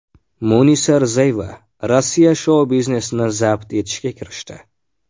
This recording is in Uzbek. Munisa Rizayeva Rossiya shou-biznesini zabt etishga kirishdi.